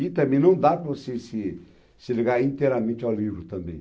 E também não dá para você se se ligar inteiramente ao livro também.